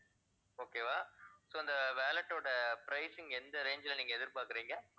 okay வா so அந்த wallet ஓட pricing எந்த range ல நீங்க எதிர்பார்க்கிறீங்க?